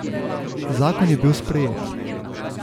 Zakon je bil sprejet.